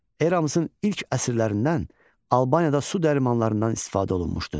Eramızın ilk əsrlərindən Albaniyada su dərmanlarından istifadə olunmuşdu.